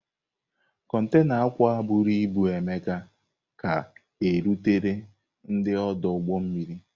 Kontaịna akwa bụrụ ibu Emeka ka rutere n'ọdụ ụgbọ mmiri.